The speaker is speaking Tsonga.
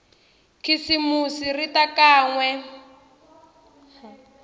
khisimusi ri ta kan we